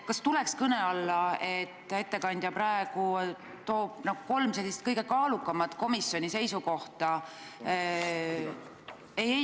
Kas tuleks kõne alla, et ettekandja praegu nimetab kolm kõige kaalukamat komisjoni seisukohta?